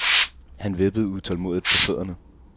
Han vippede utålmodigt på fødderne.